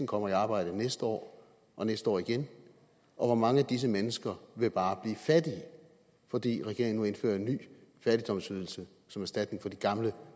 kommer i arbejde næste år og næste år igen og hvor mange af disse mennesker vil bare blive fattige fordi regeringen nu indfører en ny fattigdomsydelse som erstatning for de gamle